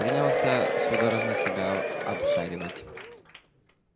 принялся судорожно себя обшаривать